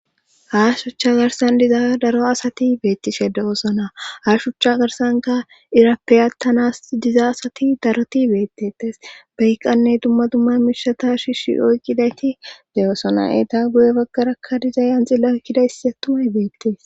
ha shucha garsan diza daro asati beettise de7osona ha shuchcha garsanka irappeyatanas diza asati daroti beettetes baykqanne dumma dumma mishata shishi oyqqidayti de7osona eeta guye baggarakka diza yanxilla ykkida hissi a tumay beettes